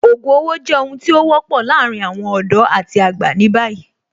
Ògùn owó jẹ́ ohun tí ó wọ́pọ̀ láàárín àwọn ọ̀dọ́ àti àgbà ní báyìí